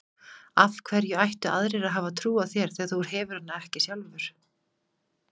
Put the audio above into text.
Af hverju ættu aðrir að hafa trú á þér þegar þú hefur hana ekki sjálfur?